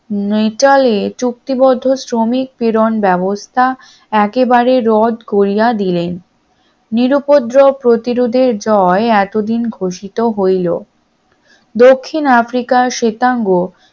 নিটলের চুক্তিবদ্ধ শ্রমিক প্রেরণ ব্যবস্থা একেবারে রদ করিয়া দিলেন। নিরুউপদ্রব প্রতিরোধের জয় এতদিন ঘোষিত হইল, দক্ষিণ আফ্রিকার শ্বেতাঙ্গ